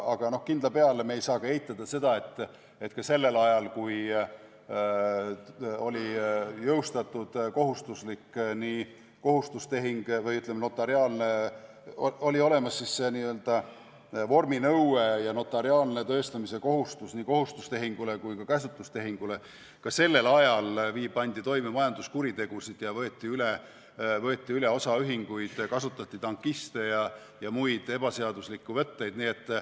Aga kindla peale, me ei saa eitada seda, et ka sellel ajal, kui oli olemas see n-ö vorminõue ja notariaalse tõestamise kohustus nii kohustustehingu kui ka käsutustehingu puhul, pandi toime majanduskuritegusid ja võeti üle osaühinguid, kasutati tankiste ja muid ebaseaduslikke võtteid.